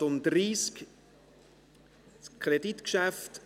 Das Geschäft ist mit folgender Auflage an den Regierungsrat zurückzuweisen: